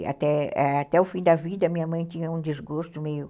E até o fim da vida, minha mãe tinha um desgosto meio...